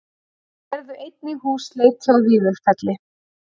Þeir gerðu einnig húsleit hjá Vífilfelli